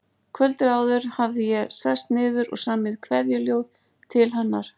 Kvöldið áður hafði ég sest niður og samið kveðjuljóð til hennar.